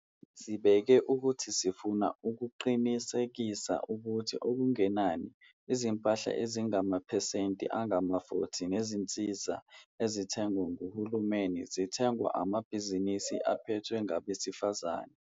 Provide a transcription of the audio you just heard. Sibeke ukuthi sifuna ukuqinisekisa ukuthi okungenani izimpahla ezingamaphesenti angama-40 nezinsiza ezithengwa nguhulumeni zithengwa emabhizinisini aphethwe ngabesifazane.